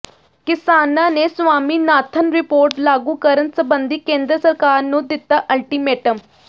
ਕਿਸਾਨਾਂ ਨੇ ਸਵਾਮੀਨਾਥਨ ਰਿਪੋਰਟ ਲਾਗੂ ਕਰਨ ਸੰਬੰਧੀ ਕੇਂਦਰ ਸਰਕਾਰ ਨੂੰ ਦਿੱਤਾ ਅਲਟੀਮੇਟਮ